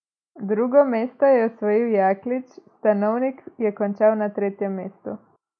Drugo mesto je tako osvojil Jaklič, Stanovnik je končal na tretjem mestu.